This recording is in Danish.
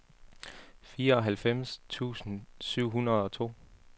fireoghalvfems tusind syv hundrede og to